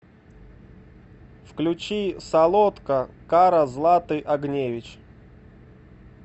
включи солодка кара златы огневич